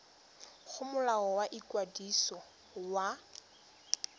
go molao wa ikwadiso wa